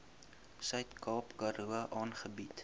suidkaap karoo aangebied